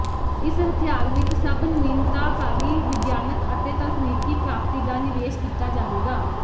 ਇਸ ਹਥਿਆਰ ਵਿੱਚ ਸਭ ਨਵੀਨਤਾਕਾਰੀ ਵਿਗਿਆਨਕ ਅਤੇ ਤਕਨੀਕੀ ਪ੍ਰਾਪਤੀ ਦਾ ਨਿਵੇਸ਼ ਕੀਤਾ ਜਾਵੇਗਾ